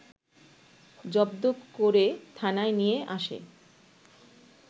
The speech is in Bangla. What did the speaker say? জব্দ করে থানায় নিয়ে আসে